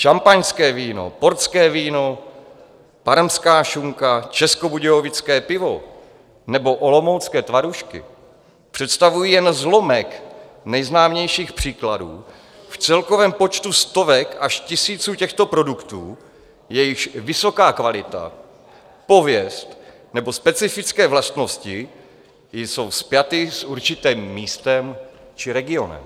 Šampaňské víno, portské víno, parmská šunka, českobudějovické pivo nebo olomoucké tvarůžky představují jen zlomek nejznámějších příkladů v celkovém počtu stovek až tisíců těchto produktů, jejichž vysoká kvalita, pověst nebo specifické vlastnosti jsou spjaty s určitým místem či regionem.